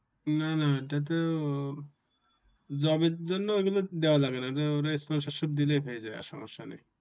না না এটাতো job জন্য এগুলা দেওয়া লাগে না। ওরা sponsorship দিলেই পেয়ে যায় আর সমস্যা নাই